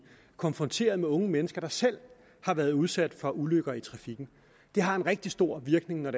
konfronteret med unge mennesker der selv har været udsat for ulykker i trafikken det har en rigtig stor virkning når